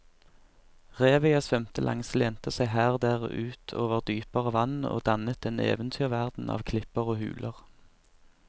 Revet jeg svømte langs lente seg her og der ut over dypere vann og dannet en eventyrverden av klipper og huler.